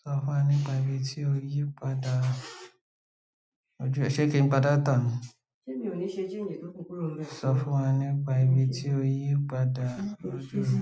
Sọ fún wọn nípa ibi tí o yípadà lójú ẹ̀. Ṣé kí n pa dàtá ni? Ṣé mi ò ní ṣe gmail tó kú kurọ̀ bẹ. Sọ fún wa nípa ibi tí o yípadà lójú mi.